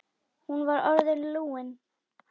Hún var orðin lúin.